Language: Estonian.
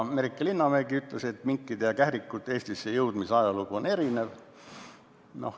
Merike Linnamägi ütles, et minkide ja kährikute Eestisse jõudmise ajalugu on erinev.